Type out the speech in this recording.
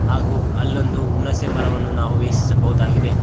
ಹಾಗು ಅಲ್ಲೊಂದು ಹುಣಸೆಮರವನ್ನು ನಾವು ವೀಕ್ಷಿಸಬಹುದಾಗಿದೆ.